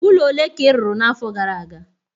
ụlọ ole ka ị rụrụ n'afọ gara aga?